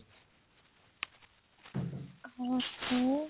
ହଁ ମୁଁ